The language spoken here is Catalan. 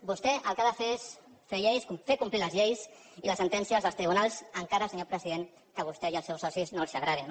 vostè el que ha de fer és fer complir les lleis i les sentències dels tribunals encara senyor president que a vostè i als seus socis no els agradin